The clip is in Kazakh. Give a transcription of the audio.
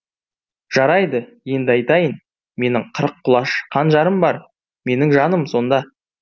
жарайды енді айтайын менің қырық құлаш қанжарым бар менің жаным сонда